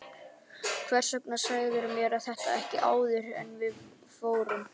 Hvers vegna sagðirðu mér þetta ekki áður en við fórum?